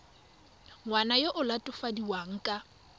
ngwana yo o latofadiwang ka